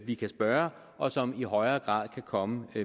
vi kan spørge og som i højere grad kan komme